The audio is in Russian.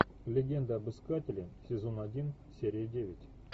легенда об искателе сезон один серия девять